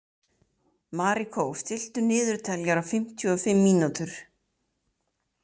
Marikó, stilltu niðurteljara á fimmtíu og fimm mínútur.